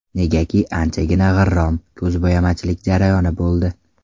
Negaki, anchagina g‘irrom, ko‘zbo‘yamachilik jarayoni bo‘ldi.